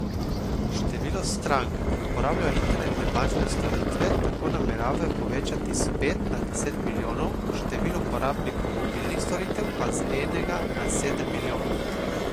Število strank, ki uporabljajo internetne bančne storitve, tako nameravajo povečati s pet na deset milijonov, število uporabnikov mobilnih storitev pa z enega na sedem milijonov.